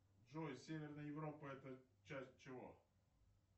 джой северная европа это часть чего